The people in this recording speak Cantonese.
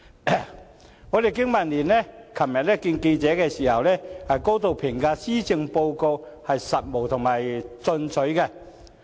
香港經濟民生聯盟昨天會見記者時，高度評價施政報告務實進取。